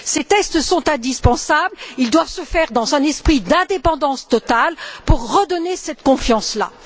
Ces tests sont indispensables, ils doivent se faire dans un esprit d'indépendance totale pour redonner cette confiance là.